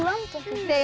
eigið